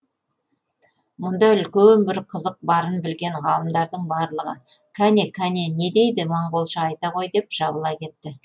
мұнда үлкен бір қызық барын білген ғалымдардың барлығы қане қане не дейді монголша айта ғой деп жабыла кетті